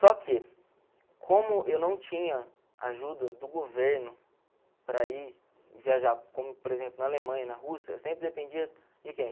Só que, como eu não tinha ajuda do governo para ir viajar, como por exemplo na Alemanha, na Rússia, eu sempre dependia de quem?